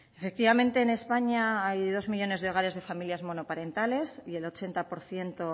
efectivamente en españa hay dos millónes de hogares de familias monoparentales y el ochenta por ciento